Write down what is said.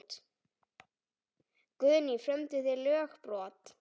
Guðný: Frömduð þið lögbrot?